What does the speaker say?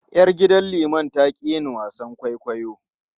Yar gidan liman ta ƙi yin wasan kwaikwayo.